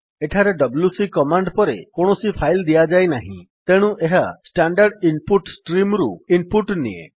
ଏଠାରେ ଡବ୍ଲ୍ୟୁସି କମାଣ୍ଡ ପରେ କୌଣସି ଫାଇଲ୍ ଦିଆଯାଇ ନାହିଁ ତେଣୁ ଏହା ଷ୍ଟାଣ୍ଡାର୍ଡ୍ ଇନ୍ ପୁଟ୍ ଷ୍ଟ୍ରିମ୍ ରୁ ଇନ୍ ପୁଟ୍ ନିଏ